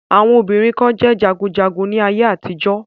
Àwọn obìnrin kan jẹ́ jagunjagun ní ayé àtijọ́.